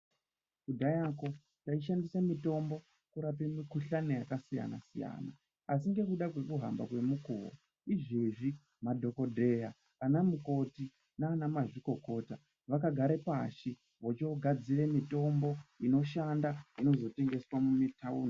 Kudhaya koo taishandise mitombo kurapa mikhuhlani yakasiyana siyana asi ngekuda kwekuhamba kwemukuwo izvezvi madhokodheya ana mukoti naana mazvikokota vakagare pashi vochogadzire mitombo inoshanda inozotengeswa mumitaundi.